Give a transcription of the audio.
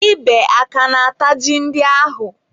Ebe aka na-ata ji ndị ahụ?